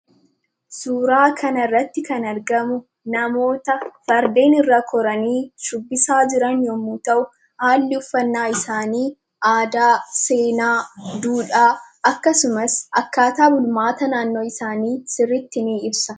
Suuraa kana irratti kan argamu, namoota Fardeen irra koranii shubbisaa jiran yemmuu ta'u, haalli uffannaa isaanii aadaa, seenaa, duudhaa akkasumas akkaataa bulmaata naannoo isaanii sirriitti nuu ibsa.